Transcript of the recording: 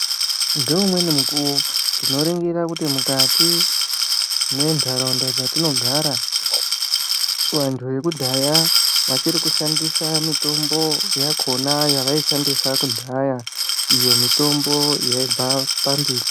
Ngeumweni mukuwo tinoringira kuti mukati mwentaraunda dzatinogara vantu vekudhaya vachiri kushandisa mitombo yakona yavaishandisa kudhaya iyo mitombo yaibva pambiti.